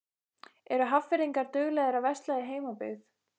Eru Hafnfirðingar duglegir að versla í heimabyggð?